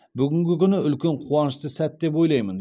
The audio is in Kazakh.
бүгінгі күні үлкен қуанышты сәт деп ойлаймын